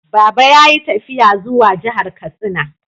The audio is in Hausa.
Baba ya yi tafiya zuwa jihar Katsina.